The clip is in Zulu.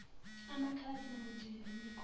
amakhaladi namandiya banikwa